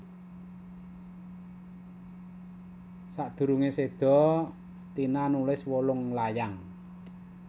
Sadurunge seda Tina nulis wolung layang